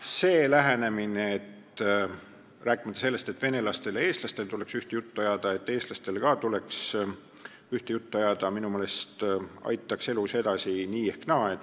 Ja see lähenemine, et venelastele ja eestlastele tuleks ühte juttu ajada, et eestlastel ka tuleks ühte juttu ajada, minu meelest aitaks elus edasi nii või naa.